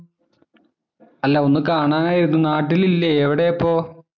അല്ല ഒന്ന് കാണാനായിരുന്നു. നാട്ടിലില്ലേ? എവിടെയാ ഇപ്പോ?